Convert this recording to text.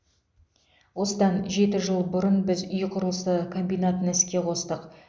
осыдан жеті жыл бұрын біз үй құрылысы комбинатын іске қостық